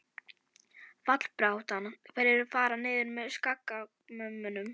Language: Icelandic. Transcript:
Fallbaráttan- Hverjir fara niður með Skagamönnum?